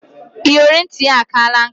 Iyori nit ya akana nka